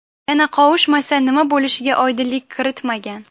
Yana qovushmasa nima bo‘lishiga oydinlik kiritmagan.